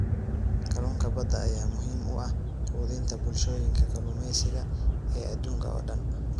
Kalluunka badda ayaa muhiim u ah quudinta bulshooyinka kalluumeysiga ee adduunka oo dhan.